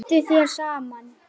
Nína virtist á báðum áttum.